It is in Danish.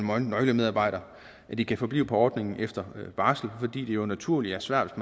her nøglemedarbejdere at de kan forblive på ordningen efter barsel fordi det jo naturligt er svært